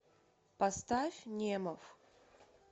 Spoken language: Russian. поставь немов